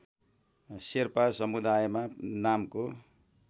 शेर्पा समुदायमा नामको